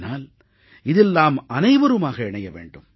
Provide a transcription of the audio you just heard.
ஆனால் இதில் நாம் அனைவருமாக இணைய வேண்டும்